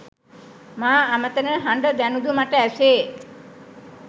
මා අමතන හඬ දැනුදු මට ඇසේ